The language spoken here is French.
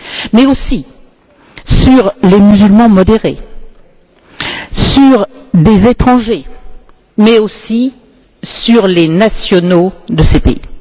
Mais aussi sur les musulmans modérés, sur des étrangers mais aussi sur les ressortissants de ces pays.